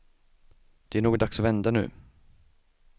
Det är nog dags att vända nu.